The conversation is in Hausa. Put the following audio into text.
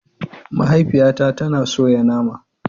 Mahaifiyata tana soya nama.